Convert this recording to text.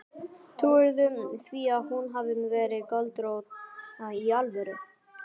Trúirðu því að hún hafi verið göldrótt. í alvöru?